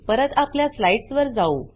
परत आपल्या स्लाइड्स वर जाऊ